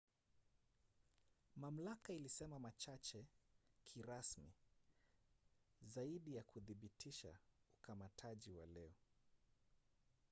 mamlaka ilisema machache kirasmi zaidi ya kuthibitisha ukamataji wa leo